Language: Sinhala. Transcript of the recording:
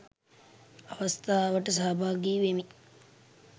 අවස්ථාවට සහභාගී වෙමිනි